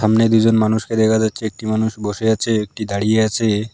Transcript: সামনে দুজন মানুষকে দেখা যাচ্ছে একটি মানুষ বসে আছে একটি দাঁড়িয়ে আছে।